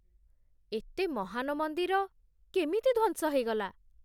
ଏତେ ମହାନ ମନ୍ଦିର କେମିତି ଧ୍ୱଂସ ହେଇଗଲା?